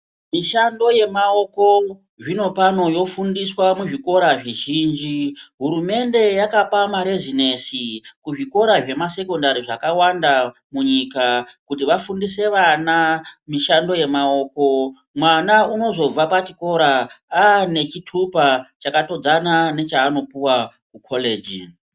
Mishando yemaoko zvinopano yofundiswa muzvikora zvizhinji. Hurumende yakapa marezinesi kuzvikora zvemasekondari zvakawanda munyika kuti vafundise vana mishando yemaoko. Mwana unozobva pachikora ane chitupa chakatodzana chaanopuva kukoreji.